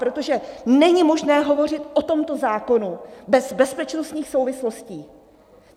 Protože není možné hovořit o tomto zákonu bez bezpečnostních souvislostí.